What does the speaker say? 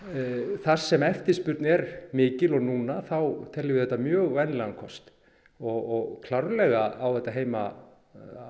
þar sem eftirspurnin er mikil eins og núna teljum við þetta mjög vænlegan kost og klárlega á þetta heima